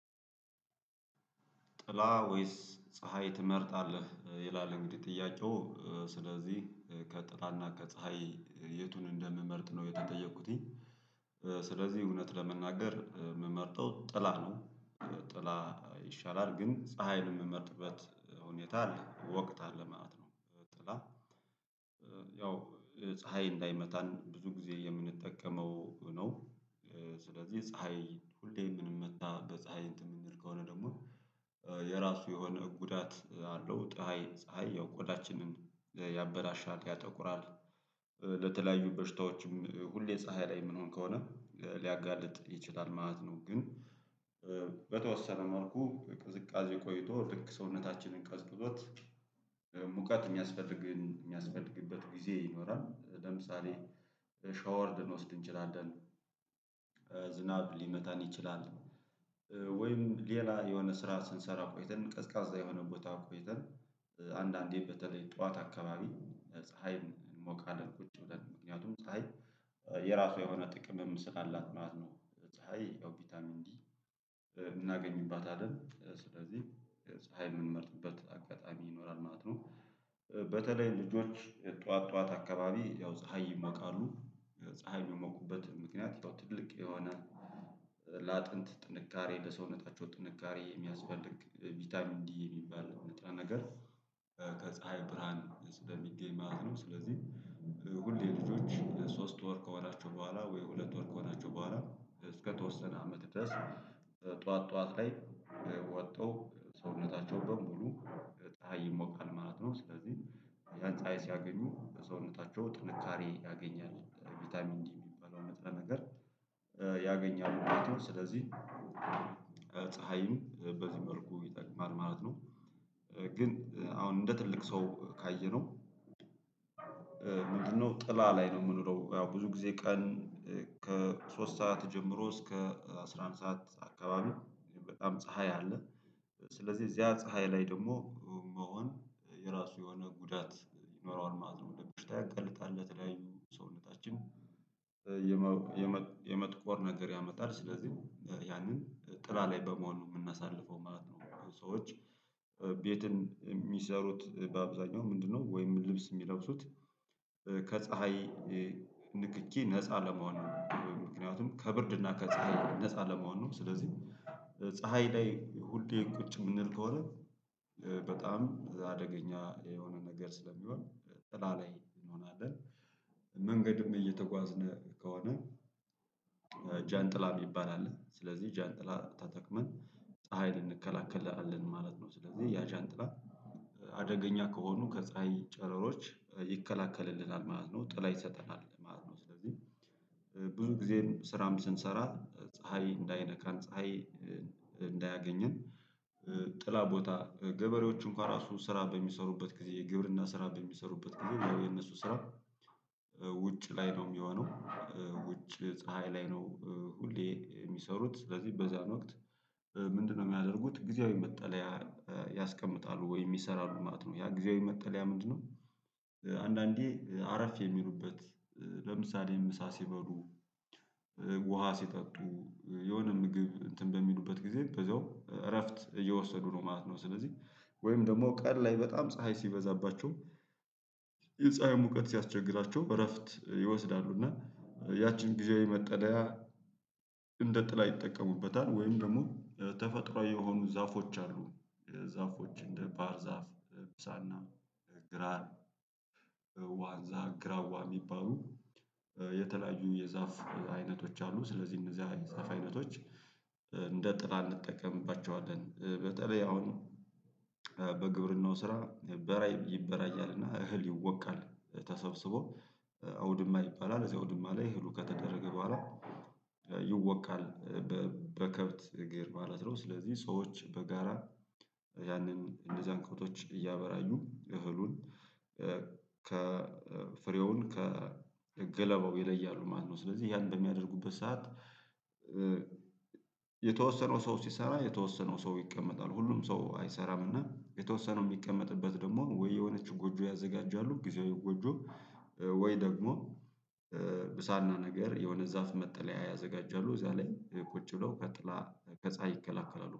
ጥላ ወይስ ፀሀይ ትመርጣለህ? ይላል እንግዲህ ጥያቄው ስለዚህ ከጥላና ከፀሀይ የቱን እንደምመርጥ ነው የተጠየኩትኝ ስለዚህ እውነት ለመናገር የምመርጠው ጥላ ነው። ጥላ ይሻላል ግን ፀሀይን የምመርጥበት ሁኔታ አለ ወቅት አለ ማለት ነው። ጥላ ያው ፀሀይ እንዳይመታን ብዙ ጊዜ የምንጠቀመው ነው። ስለዚህ ፀሀይ ሁሌ የምንመታ በፀሀይ እንትን የምንል ከሆነ ደግሞ የራሱ የሆነ ጉዳት አለው። ፀሀይ ፀሀይ ያው ቆዳችንን ያበለሻል ያጠቁራል ለተለያዩ በሽታዎችም ሁሌ ፀሀይ ላይ የምንሆን ከሆነ ሊያጋልጥ ይችላል ማለት ነው። ግን በተወሰነ መልኩ ቅዝቃዜ ቆይቶ ልክ ሰውነታችንን ቀዝቅዞት ሙቀት የሚያስፈልግን የሚያስፈልግበት ጊዜ ይኖራል። ለምሳሌ ሻወር ልንወስድ እንችላለን። ዝናብ ሊመታን ይችላል። ወይም ሌላ የሆነ ስራ ስንሰራ ቆይተን ቀዝቃዛ የሆነ ቦታ ቆይተን አንዳንዴ በተለይ ጠዋት አካባቢ ፀሀይን እንሞቃለን ቁጭ ብለን ምክንያቱም ፀሀይ የራሱ የሆነ ጥቅምም ስላላት ማለት ነው። ፀሀይ ያው ቫይታሚን ዲ እናገኝባታለን ስለዚህ ፀሀይ የምንመርጥበት አጋጣሚ ይኖራል ማለት ነው። በተለይ ልጆች ጠዋት ጠዋት አካባቢ ያው ፀሀይ ይሞቃሉ ፀሀይ የሚሞቁበት ምክንያት ያው ትልቅ የሆነ ለአጥንት ጥንካሬ ለሰውነታቸው ጥንካሬ የሚያስፈልግ ቫይታሚን ዲ የሚባል ንጥረ ነገር ከፀሀይ ብርሃን ስለሚገኝ ማለት ነው። ስለዚህ ሁሌ ልጆች ሶስት ወር ከሆናቸው በኋላ ወይ ሁለት ወር ከሆናቸው በኋላ እስከተወሰነ አመት ድረስ ጠዋት ጠዋት ላይ ወጥተው ሰውነታቸው በሙሉ ፀሀይ ይሞቃል ማለት ነው። ስለዚህ ያን ፀሀይ ሲያገኙ በሰውነታቸው ጥንካሬ ያገኛል ቫይታሚን ዲ የሚባለው ንጥረ ነገር ያገኛሉ ማለት ነው። ስለዚህ ፀሀይም በዚህ መልኩ ይጠቅማል ማለት ነው። ግን አሁን እንደ ትልቅ ሰው ካየነው ምንድነው? ጥላ ላይ ነው የምንውለው ያው ብዙ ጊዜ ቀን ከሶስት ሰዓት ጀምሮ እስከ አስራ አንድ ሰዓት አካባቢ በጣም ፀሀይ አለ። ስለዚህ እዚያ ፀሀይ ላይ ደግሞ መሆን የራሱ የሆነ ጉዳት ይኖረዋል ማለት ነው። ለበሽታ ያጋልጣል ለተለያዩ ሰውነታችን የመጥቆር ነገር ያመጣል። ስለዚህ ያንን ጥላ ላይ በመሆን ነው የምናሳልፈው ማለት ነው። ሰዎች ቤትን የሚሰሩት በአብዛኛው ምንድነው? ወይም ልብስ የሚለብሱት ከፀሀይ ንክኪ ነፃ ለመሆን ምክንያቱም ከብርድ እና ከፀሀይ ነፃ ለመሆን ነው። ስለዚህ ፀሀይ ላይ ሁሌ ቁጭ የምንል ከሆነ በጣም አደገኛ የሆነ ነገር ስለሚሆን ጥላ ላይ እንሆናለን። መንገድም እየተጓዝነ ከሆነ ጃንጥላ የሚባል አለ ስለዚህ ጃንጥላ ተጠቅመን ፀሀይ ልንከላከላለን ማለት ነው። ስለዚህ ያ ዣንጥላ አደገኛ ከሆኑ ከፀሀይ ጨረሮች ይከላከልልናል ማለት ነው። ጥላ ይሰጠናል ማለት ነው። ስለዚህ ብዙ ጊዜም ስራም ስንሰራ ፀሀይ እንዳይነካን ፀሀይ እንዳያገኘን ጥላ ቦታ ገበሬዎች እንኳን ራሱ ስራ በሚሰሩበት ጊዜ የግብርና ስራ በሚሰሩበት ጊዜ የነሱ ስራ ውጭ ላይ ነው የሚሆነው። ውጭ ፀሀይ ላይ ነው ሁሌ የሚሰሩት ስለዚህ በዛን ወቅት ምንድነው? የሚያደርጉት ጊዜያዊ መጠለያ ያስቀምጣሉ ወይም ይሰራሉ ማለት ነው። ያ ጊዜያዊ መጠለያ ምንድነው? አንዳንዴ አረፍ የሚሉበት ለምሳሌ ምሳ ሲበሉ ውሃ ሲጠጡ የሆነ ምግብ እንትን በሚሉበት ጊዜ በዚያው እረፍት እየወሰዱ ነው ማለት ነው። ስለዚህ ወይም ደግሞ ቀን ላይ በጣም ፀሀይ ሲበዛባቸው የፀሀይ ሙቀት ሲያስቸግራቸው እረፍት ይወስዳሉ እና ያቺን ጊዜያዊ መጠለያ እንደ ጥላ ይጠቀሙበታል ወይም ደግሞ ተፈጥሯዊ የሆኑ ዛፎች አሉ። ዛፎች እንደ ባህር ዛፍ ብሳና ግራር ዋንዛ ግራዋ የሚባሉ የተለያዩ የዛፍ አይነቶች አሉ። ስለዚህ እነዛ የዛፍ አይነቶች እንደ ጥላ እንጠቀምባቸዋለን። በተለይ አሁን በግብርናው ስራ ይበራያልና እህል ይወቃል ተሰብስቦ አውድማ ይባላል እዚያ አውድማ ላይ እህሉ ከተደረገ በኋላ ይወቃል። በከብት እግር ማለት ነው። ስለዚህ ሰዎች በጋራ ያንን እነዛን ከብቶች እያበራዩ እህሉን ከፍሬውን ከገለባው ይለያሉ ማለት ነው። ስለዚህ ያን በሚያደርጉበት ሰዓት የተወሰነው ሰው ሲሰራ የተወሰነው ሰው ይቀመጣል ሁሉም ሰው አይሰራም እና የተወሰነው የሚቀመጥበት ደግሞ ወይ የሆነች ጎጆ ያዘጋጃሉ ጊዜያዊ ጎጆ ወይ ደግሞ ብሳና ነገር የሆነ ዛፍ መጠለያ ያዘጋጃሉ እዛ ላይ ቁጭ ብለው ከጥላ ከፀሀይ ይከላከላሉ